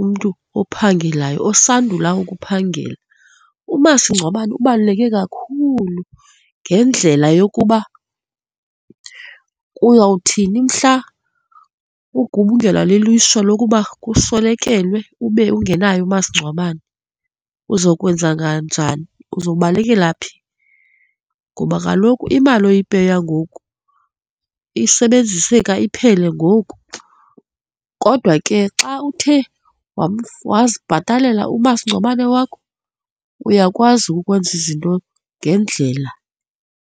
umntu ophangelayo, osandula ukuphangela. Umasingcwabane ubaluleke kakhulu ngendlela yokuba uyawuthini mhla ugubungelwa lilishwa lokuba uswelekelwe ube ungenaye umasingcwabane. Uzokwenza kanjani? Uzobalekela phi? Ngoba kaloku imali oyipeya ngoku isebenziseka iphele ngoku. Kodwa ke xa uthe wazibhatalela umasingcwabane wakho, uyakwazi ukwenza izinto ngendlela.